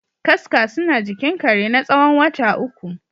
Kaska suna jikin kare natsawon wata uku.